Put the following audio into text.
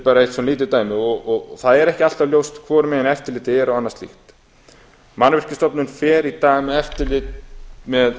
er eitt bara lítið dæmi og það er ekki alltaf ljóst hvorum megin eftirlitið er og annað slíkt mannvirkjastofnun fer í dag með